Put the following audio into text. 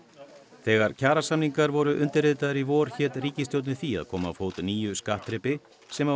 þegar kjarasamningar voru undirritaðir í vor hét ríkisstjórnin því að koma á fót nýju skattþrepi sem á að